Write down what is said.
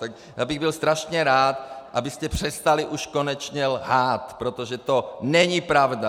Tak já bych byl strašně rád, abyste přestali už konečně lhát, protože to není pravda!